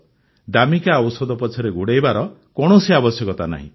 ଦାମିକା ଔଷଧ ପଛରେ ଗୋଡ଼ାଇବାର କୌଣସି ଆବଶ୍ୟକତା ନାହିଁ